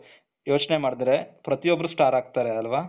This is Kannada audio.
ಯೋಚನೆ ಮಾಡದ್ರೆ ಪ್ರತಿಯೊಬ್ಬರು ಸ್ಟಾರ್ ಆಗ್ತಾರೆ ಅಲ್ವಾ